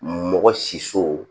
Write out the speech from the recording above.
Mɔgɔ si so